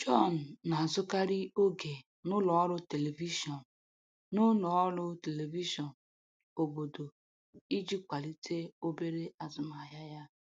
John na-azụkarị oge n'ụlọ ọrụ telivishọn n'ụlọ ọrụ telivishọn obodo iji kwalite obere azụmahịa ya.